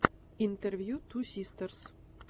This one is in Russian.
интервью ту систерс